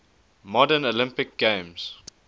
modern olympic games